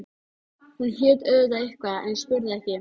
Hún hét auðvitað eitthvað en ég spurði ekki.